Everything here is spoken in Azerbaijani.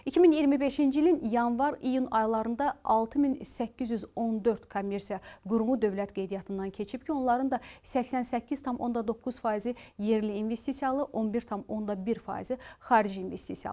2025-ci ilin yanvar-iyun aylarında 6814 kommersiya qurumu dövlət qeydiyyatından keçib ki, onların da 88,9 faizi yerli investisiyalı, 11,1 faizi xarici investisiyalıdır.